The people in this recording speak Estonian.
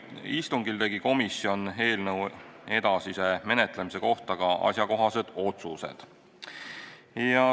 Istungil tegi komisjon eelnõu edasise menetlemise kohta ka asjakohased otsused.